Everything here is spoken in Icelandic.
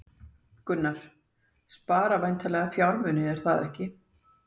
Gunnar: Spara væntanlega fjármuni, er það ekki?